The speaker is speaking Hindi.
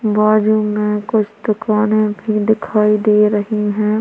बाजू मे कुछ दुकाने भी दिखाई दे रही हैं।